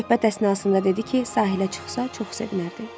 Söhbət əsnasında dedi ki, sahilə çıxsa, çox sevinərdi.